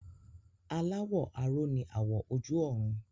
Aláwọ̀ aró ni àwọ̀ ojú ọ̀run